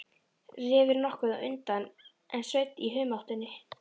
Refur nokkuð á undan en Sveinn í humáttinni.